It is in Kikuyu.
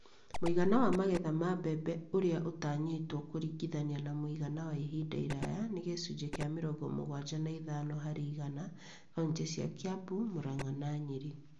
Muigana wa magetha ma mbembe ũrĩa ũtanyĩtwo kũringithania na mũigana wa ihinda iraya nĩ gĩcunjĩ kĩa mĩrongo mũgwanja na ithano harĩ igana kauntĩ cia Kiambu, Muranga, na Nyeri